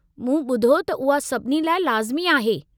मूं ॿुधो त उहा सभिनी लाइ लाज़िमी आहे।